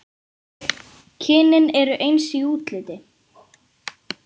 Kynin eru eins í útliti.